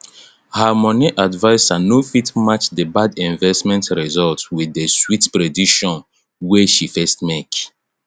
her moni advisor no fit match the bad investment result with the sweet prediction wey she first make